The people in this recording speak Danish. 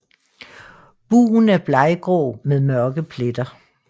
Bugen er bleggrå med mørke pletter